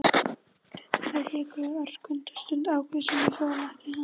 Bretarnir hikuðu örskotsstund, ákváðu síðan að hjóla ekki í hann.